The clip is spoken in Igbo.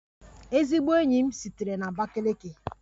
Ezigbo enyi m sitere na Abakiliki